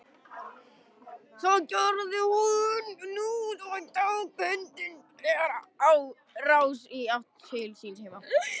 Það gerði hún nú og tók hundurinn þegar á rás í átt til síns heima.